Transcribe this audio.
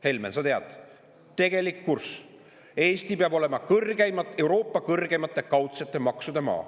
Helmen, sa tead, tegelik kurss Eesti peab olema Euroopa kõrgeimate kaudsete maksude maa.